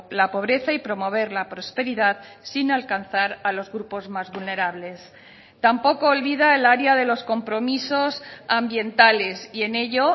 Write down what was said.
la pobreza y promover la prosperidad sin alcanzar a los grupos más vulnerables tampoco olvida el área de los compromisos ambientales y en ello